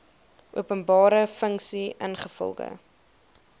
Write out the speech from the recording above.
openbare funksie ingevolge